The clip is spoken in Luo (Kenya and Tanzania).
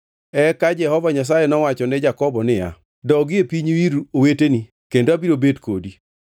Eka Jehova Nyasaye nowacho ne Jakobo niya, “Dogi e pinyu ir oweteni kendo abiro bet kodi.”